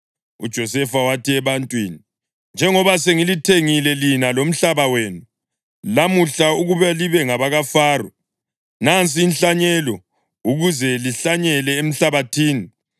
UJosefa wathi ebantwini, “Njengoba sengilithengile lina lomhlaba wenu lamuhla ukuba libe ngabakaFaro, nansi inhlanyelo ukuze lihlanyele emhlabathini.